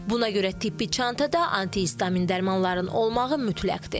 Buna görə tibbi çantada antihistamin dərmanların olmağı mütləqdir.